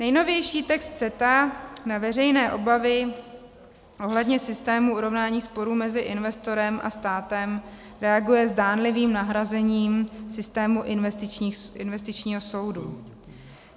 Nejnovější text CETA na veřejné obavy ohledně systému urovnání sporů mezi investorem a státem reaguje zdánlivým nahrazením systému investičního soudu.